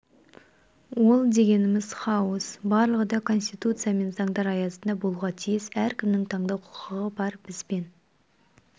ол дегеніміз хаос барлығы да конституция мен заңдар аясында болуға тиіс әркімнің таңдау құқығы бар бізбен